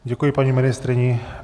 Děkuji paní ministryni.